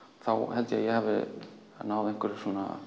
held ég að ég hafi náð einhverjum